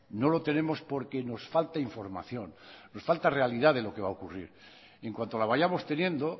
no lo tenemos porque nos falta información nos falta realidad de lo que va a ocurrir en cuanto la vayamos teniendo